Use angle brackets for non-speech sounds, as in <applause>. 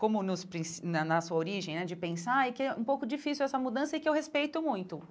como nos <unintelligible> na na sua origem né, de pensar, e que é um pouco difícil essa mudança e que eu respeito muito.